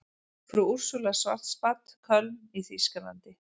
Frú Úrsúla Schwarzbad, Köln í þýskalandi.